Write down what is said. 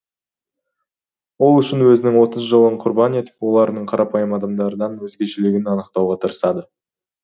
ол үшін өзінің отыз жылын құрбан етіп олардың қарапайым адамдардан өзгешелігін анықтауға тырысады